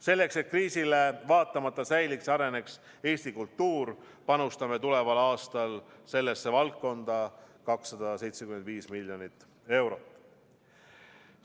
Selleks et kriisile vaatamata säiliks ja areneks Eesti kultuur, panustame tuleval aastal sellesse valdkonda 275 miljonit eurot.